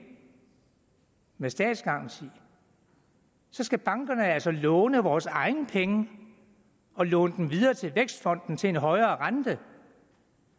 med statsgaranti så skal bankerne altså låne vores egne penge og låne dem videre til vækstfonden til en højere rente